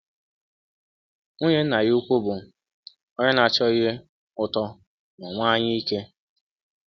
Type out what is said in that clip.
um Nwụnye nna ya ụkwụ bụ um ọnye na - achọ ihe um ụtọ ma nwee anyaike.